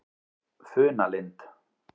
Funalind